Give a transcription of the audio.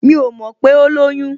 Mi ò mọ̀ pé ó lóyún